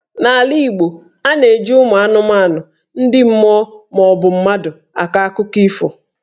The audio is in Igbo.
N'ala Igbo, a na-eji ụmụ anụmanụ, ndị mmụọ maọbụ mmadụ akọ akụkọ ifo.